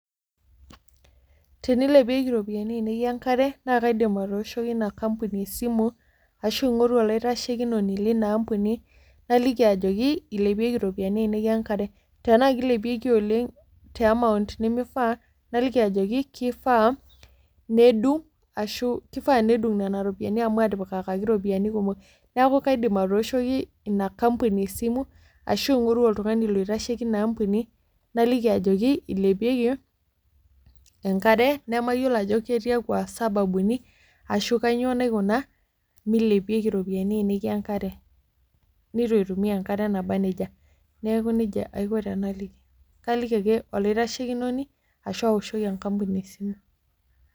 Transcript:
Tenilepieki iropiani ainei enkare naa kaidim atooshoki ina kampuni esimu ashu ing'oru olaitashekinoni lina ampuni naliki ajoki ilepieki iropiani ainei enkare tenaa kilepieki oleng te amount nemifaa naliki ajoki kifaa nedung ashu kifaa nedung nena ropiani amu atipikaki iropiyiani kumok neeku kaidim atooshoki ina kampuni esimu ashu aing'oru oltung'ani loitasheki ina ampuni naliki ajoki ilepieki enkare nemayiolo ajo ketiakua sababuni ashu kanyio naikuna milepieki iropiani ainei enkare netu aitumia enkare naba nejia neeku nejia aiko tenaliki kaliki ake olaitashekinoni ashu aoshoki enkampuni esimu.